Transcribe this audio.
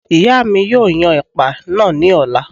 ìyá mi yóò yan ẹ̀pà náà ní ọ̀la